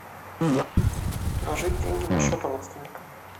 положить деньги на счет родственника